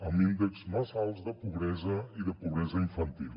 amb índexs massa alts de pobresa i de pobresa infantil